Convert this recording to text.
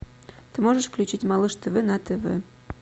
ты можешь включить малыш тв на тв